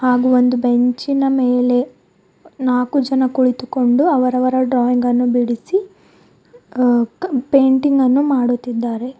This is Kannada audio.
ಹಾಗೂ ಒಂದು ಬೆಂಚಿ ನ ಮೇಲೆ ನಾಕು ಜನ ಕುಳಿತುಕೊಂಡು ಅವರ ಅವರ ಡ್ರಾಯಿಂಗ್ ಅನ್ನು ಬಿಡಿಸಿ ಅ ಪೇಂಟಿಂಗ್ ಅನ್ನು ಮಾಡುತ್ತಿದ್ದಾರೆ.